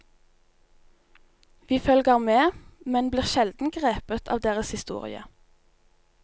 Vi følger med, men blir sjelden grepet av deres historie.